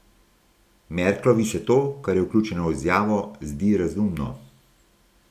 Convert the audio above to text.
Merklovi se to, kar je vključeno v izjavo, zdi razumno.